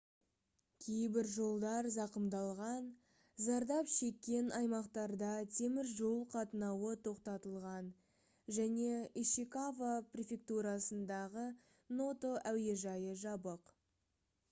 кейбір жолдар зақымдалған зардап шеккен аймақтарда темір жол қатынауы тоқтатылған және ишикава префектурасындағы ното әуежайы жабық